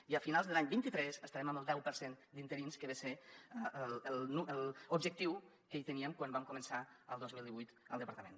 i a finals de l’any vint tres estarem en el deu per cent d’interins que ve a ser l’objectiu que teníem quan vam començar el dos mil divuit al departament